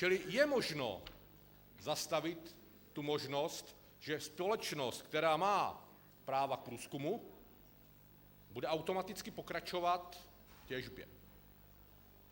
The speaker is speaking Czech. Čili je možno zastavit tu možnost, že společnost, která má práva k průzkumu, bude automaticky pokračovat v těžbě.